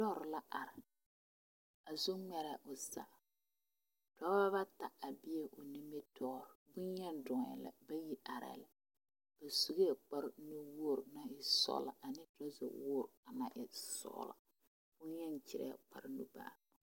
Loori are a zu ŋmare o zaa dɔba bata a be o nimitɔɔreŋ boŋyeni dɔɔɛ bayi arɛɛ la ba sue kparre nuwogri sɔgla ane bosuwoore naŋ e sɔgla boŋyeni kyɛ kpare nuŋmaara.